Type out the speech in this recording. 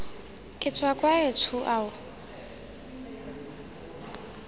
ke tswa kwa etsho ao